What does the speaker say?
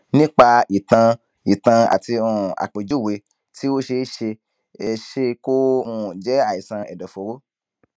nípa ìtàn ìtàn àti um àpèjúwe tí o ṣe ó ṣe é ṣe kó um jẹ àìsàn ẹdọfóró